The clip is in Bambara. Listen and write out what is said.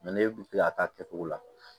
ne kun tɛ ka k'a kɛ cogo la